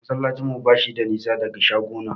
Masallacin mu bashi da nisa daga shagona.